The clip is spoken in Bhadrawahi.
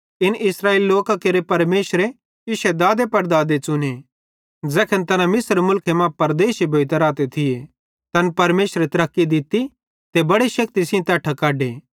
इन इस्राएली लोकां केरे परमेशरे इश्शे दादेपड़दादे च़ुने ज़ैखन तैना मिस्र मुलखे मां परदेशी भोइतां रहते थिये तैन परमेशरे तरक्की दित्ती ते बड़े शेक्ति सेइं तैट्ठां कढे